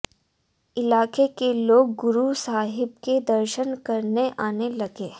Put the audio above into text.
इलाके के लोग गुरू साहिब के दर्शन करने आने लगे